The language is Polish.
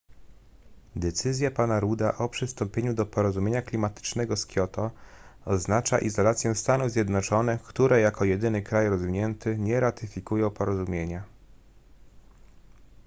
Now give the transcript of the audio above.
decyzja pana rudda o przystąpieniu do porozumienia klimatycznego z kioto oznacza izolację stanów zjednoczonych które jako jedyny kraj rozwinięty nie ratyfikują porozumienia